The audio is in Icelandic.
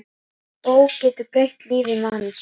Bók getur breytt lífi manns.